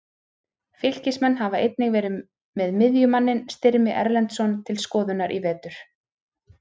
Fylkismenn hafa einnig verið með miðjumanninn Styrmi Erlendsson til skoðunar í vetur.